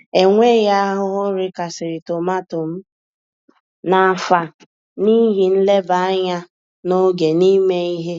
Enweghị ahụhụ rikasịrị tomato m n'afọ a n'ihi nleba anya n'oge na ime ihe.